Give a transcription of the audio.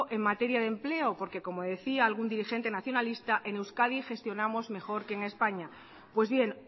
en materia de empleo porque como decía algún dirigente nacionalista en euskadi gestionamos mejor que en españa pues bien